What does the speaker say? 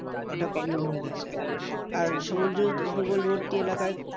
ওটা common হয়ে গেছে। আর সমুদ্র উপকূলবর্তী এলাকায়